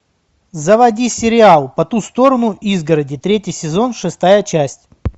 заводи сериал по ту сторону изгороди третий сезон шестая часть